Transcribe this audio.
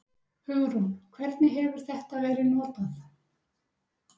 Hugrún: Hvernig hefur þetta verið notað?